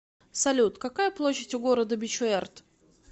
салют какая площадь у города бичуэрт